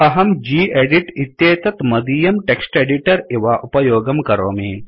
अहं गेदित् इत्येतत् मदीयं टेक्स्ट् एडिटर इव उपयोगं करोमि